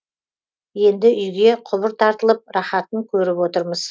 енді үйге құбыр тартылып рахатын көріп отырмыз